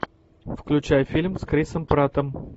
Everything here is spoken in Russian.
включай фильм с крисом праттом